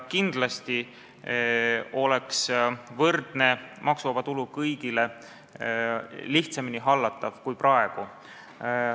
Kindlasti oleks võrdne maksuvaba tulu kõigile lihtsamini hallatav kui praegu.